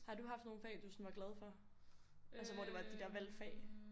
Har du haft nogle fag du sådan var glad for? Altså hvor det var de der valgfag